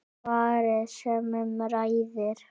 Svarið sem um ræðir